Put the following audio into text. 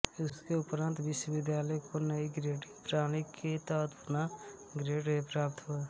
उसके उपरांत विश्वविद्यालय को नई ग्रेडिंग प्रणाली के तहत पुनः ग्रेड ए प्राप्त हुआ